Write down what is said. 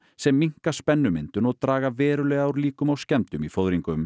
sem minnka spennumyndun og draga verulega úr líkum á skemmdum í